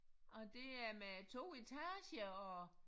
Og det er med 2 etager og